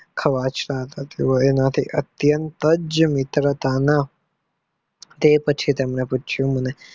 અવાજસાથ થતું હોય અતિયાત મિત્રતા કે પછી તમને પુછીઉ